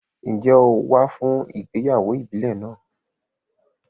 Ǹjẹ́ o wá fún ìgbéyàwó ìbílẹ̀ náà?